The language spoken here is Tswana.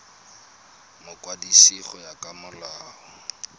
mokwadisi go ya ka molao